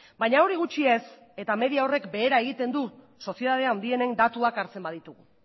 baina hori gutxi ez eta media horrek behera egiten du sozietate handienen datuak hartzen baditugu